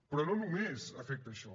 però no només afecta això